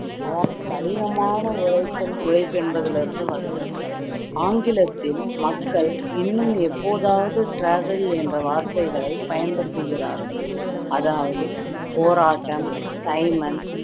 அதாவது கடினமான உழைத்தல் உழைப்பு என்பதிலிருந்து வந்தது ஆங்கிலத்தில் மக்கள் இன்னும் எப்போதாவது travail என்ற வார்த்தைகளை பயன்படுத்திகிறார்கள் அதாவது போராட்டம் சைமன்